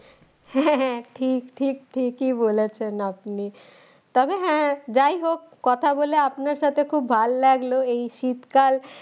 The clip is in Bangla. হ্যাঁ হ্যাঁ হ্যাঁ ঠিক ঠিক ঠিকই বলেছেন আপনি তবে হ্যাঁ যাই হোক কথা বলে আপনার সাথে খুব ভালো লাগলো এই শীতকাল